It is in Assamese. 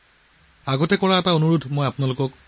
আপোনালোকৰ বাবে মোৰ এটা পুৰণি অনুৰোধ আছে